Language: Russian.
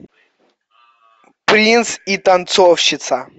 принц и танцовщица